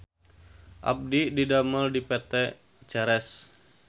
Abdi didamel di PT Ceres